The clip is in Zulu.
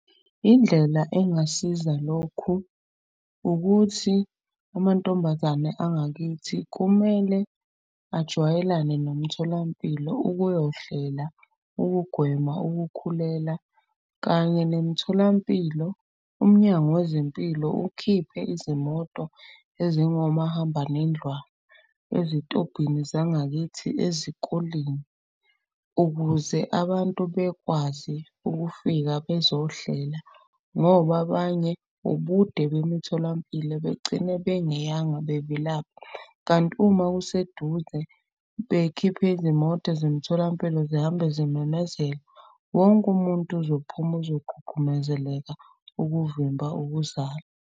Indlela engasiza lokhu ukuthi amantombazane angakithi kumele ajwayelane nomtholampilo ukuyohlela. Ukugwema ukukhulela kanye nemitholampilo, umnyango wezempilo ukhiphe izimoto ezingomahambanendlwana. Ezitobhini zangakithi ezikoleni ukuze abantu bekwazi ukufika bezohlela. Ngoba abanye ubude bemitholampilo begcine bengeyanga bevilapha. Kanti uma kuseduze bekhiphe izimoto zemitholampilo zihambe zimemezela. Wonke umuntu uzophuma uzogqugqumezeleka ukuvimba ukuzala.